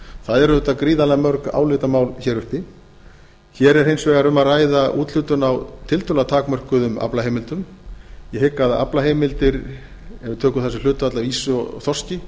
það eru auðvitað gríðarlega mörg álitamál hér uppi hér er hins vegar um að ræða úthlutun á tiltölulega takmörkuðum aflaheimildum ég hygg að aflaheimildir ef við tökum sem hlutfall af ýsu og þorski